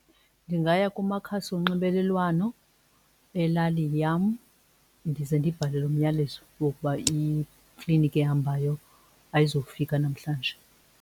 Ndingaya kumakhasi onxibelelwano elali yam ndize ndibhale lo myalezo wokuba ikliniki ehambayo ayizufika namhlanje.